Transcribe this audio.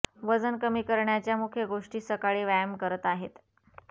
वजन कमी करण्याच्या मुख्य गोष्टी सकाळी व्यायाम करत आहेत